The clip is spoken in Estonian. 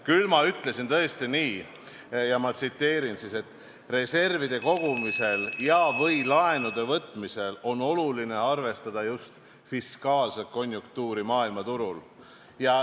Küll ma ütlesin tõesti nii – ja ma tsiteerin –, et reservide kogumisel ja/või laenude võtmisel on oluline arvestada just fiskaalset konjunktuuri maailmaturul.